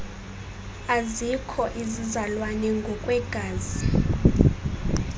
azikho izizalwane ngokwegazi